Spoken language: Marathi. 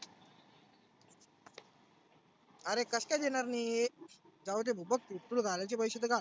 आरे कस काय देणार नाही? जाऊदे भो बघ तु तुला घालायचे पैसे तर घाल.